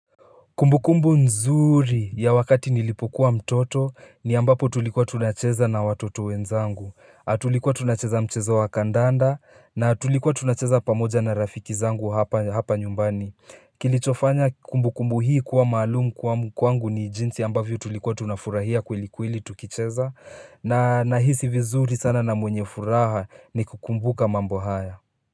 Kumbukumbu nzuri ya wakati nilipokuwa mtoto ni ambapo tulikuwa tunacheza na watoto wenzangu tulikuwa tunacheza mchezo wa kandanda na tulikuwa tunacheza pamoja na rafiki zangu hapa nyumbani Kilichofanya kumbukumbu hii kuwa maalum kuwa m kwangu ni jinsi ambavyo tulikuwa tunafurahia kweli kweli tukicheza na nahisi vizuri sana na mwenye furaha nikikumbuka mambo haya.